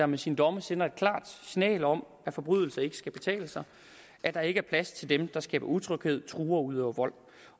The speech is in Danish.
med sine domme sender et klart signal om at forbrydelser ikke skal kunne betale sig at der ikke er plads til dem der skaber utryghed truer og udøver vold